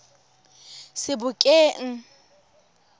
sebokeng